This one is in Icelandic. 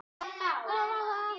Allur er varinn góður.